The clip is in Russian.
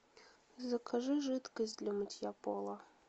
закажи жидкость для мытья пола